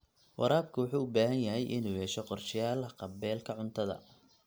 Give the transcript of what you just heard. Waraabka wuxuu u baahan yahay inuu yeesho qorshayaal haqab-beelka cuntada.